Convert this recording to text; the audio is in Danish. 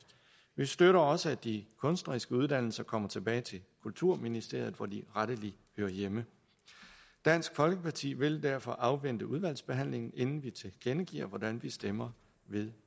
vi støtter også at de kunstneriske uddannelser kommer tilbage til kulturministeriet hvor de rettelig hører hjemme dansk folkeparti vil derfor afvente udvalgsbehandlingen inden vi tilkendegiver hvordan vi stemmer ved